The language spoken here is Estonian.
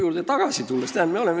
Tulen tagasi sinu jutu juurde.